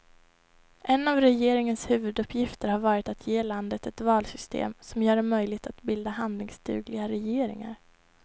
En av regeringens huvuduppgifter har varit att ge landet ett valsystem som gör det möjligt att bilda handlingsdugliga regeringar.